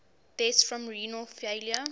deaths from renal failure